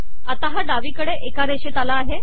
आता हा डावीकडे एका रेषेत आला आहे